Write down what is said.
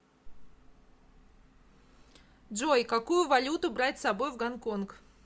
джой какую валюту брать с собой в гонконг